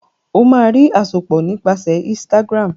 o má rí àsopọ nípasẹ Instagram